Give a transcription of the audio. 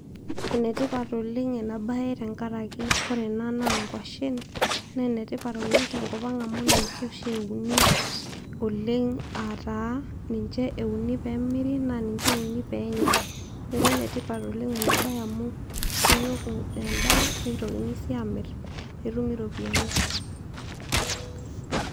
Enetipat oleng' ena baye tenkaraki ore ena naa nkuashen, naa enetipat oleng' tenkop ang'amu ninche oshi euni oleng' aa taa ninche euni pee emiri naa ninche euni pee enyai neeku enetipat oleng' enabaye amu eshukoki endaa nitokini sii aamirr pee etumi iropiyiani.